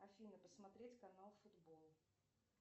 афина посмотреть канал футбол